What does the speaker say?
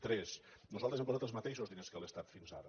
tres nosaltres hem posat els mateixos diners que l’estat fins ara